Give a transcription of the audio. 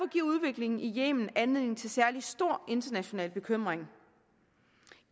giver udviklingen i yemen anledning til særlig stor international bekymring